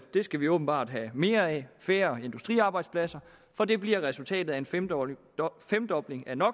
skal vi åbenbart have mere af færre industriarbejdspladser for det bliver resultatet af en femdobling femdobling af no